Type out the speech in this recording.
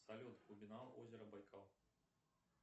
салют глубина озера байкал